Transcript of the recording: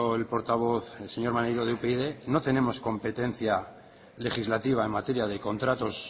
el portavoz el señor maneiro de upyd no tenemos competencia legislativa en materia de contratos